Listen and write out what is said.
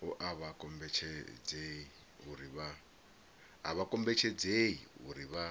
a vha kombetshedzei uri vha